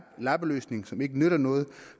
lappeløsning som ikke nytter noget